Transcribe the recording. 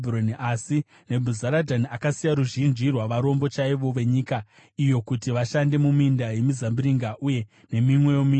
Asi Nebhuzaradhani akasiya ruzhinji rwavarombo chaivo venyika iyo kuti vashande muminda yemizambiringa uye nemimwewo minda.